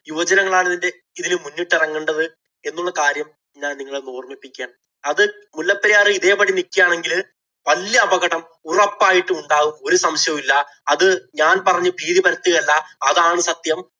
യുവജനങ്ങള്‍ ആണ് ഇതിന്‍റെ ഇതില് മുന്നിട്ടിറങ്ങേണ്ടത് എന്നുള്ള കാര്യം ഞാന്‍ നിങ്ങളെ ഒന്ന് ഓര്‍മ്മിപ്പിക്കുകയാണ്. അത് മുല്ലപ്പെരിയാര്‍ ഇതേ പടി നില്‍ക്കുകയാണെങ്കില്‍ വല്യ അപകടം ഉറപ്പായിട്ടും ഉണ്ടാകും. ഒരു സംശയവും ഇല്ല. അത് ഞാന്‍ പറഞ്ഞ് ഭീതി പരത്തുകയല്ല. അതാണ് സത്യം.